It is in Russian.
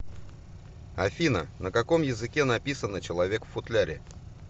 афина на каком языке написано человек в футляре